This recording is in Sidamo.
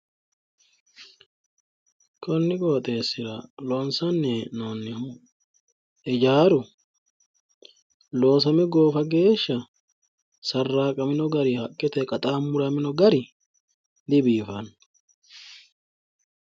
Konni qoxeessira loonsanni he'noonnihu hijaaru loosame goofa geeshsha sarraqamino gari haqqeteyi qaxaamuramino gari dibiifanno